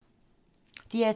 DR2